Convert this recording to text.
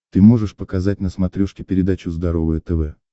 ты можешь показать на смотрешке передачу здоровое тв